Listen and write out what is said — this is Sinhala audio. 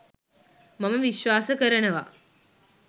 මම විශ්වාස කරනවා